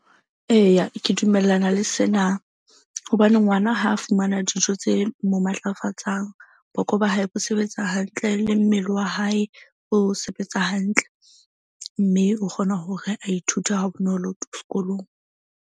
Eya, ke dumellana le sena hobane ngwana ha a fumana dijo tse mo matlafatsang. Boko ba hae bo sebetsa hantle le mmele wa hae o sebetsa hantle. Mme o kgona hore a ithute ha bonolo skolong.